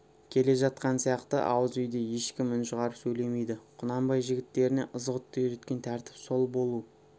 келе жатқан сияқты ауызүйде ешкім үн шығарып сөйлемейді құнанбай жігіттеріне ызғұтты үйреткен тәртіп сол болу